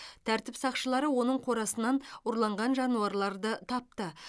тәртіп сақшылары оның қорасынан ұрланған жануарларды тапты